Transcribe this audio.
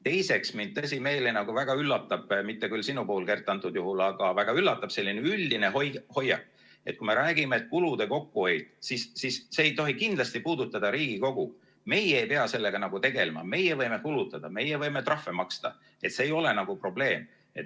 Teiseks, mind tõsimeeli väga üllatab – mitte küll sinu puhul, Kert, antud juhul – selline üldine hoiak, et kui me räägime, kulude kokkuhoiust, siis see ei tohi kindlasti puudutada Riigikogu, meie ei pea sellega tegelema, meie võime kulutada, meie võime trahve maksta, see ei ole nagu probleem.